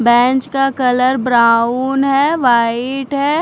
Bench का colour brown है white है।